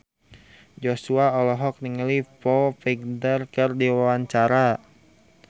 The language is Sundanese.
Joshua olohok ningali Foo Fighter keur diwawancara